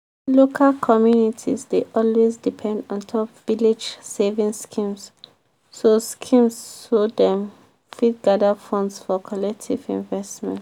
local communities dey always depend ontop village savings schemes so schemes so dem fit gather funds for collective investments.